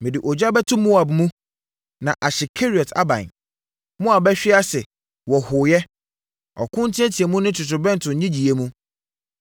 Mede ogya bɛto Moab mu, na ahye Keriot aban. Moab bɛhwe ase wɔ hooyɛ, ɔko nteateamu ne totorobɛnto nnyegyeeɛ mu.